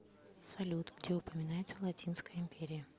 салют где упоминается латинская империя